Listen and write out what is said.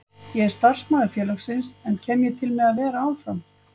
Ég er starfsmaður félagsins, en kem ég til með að vera áfram?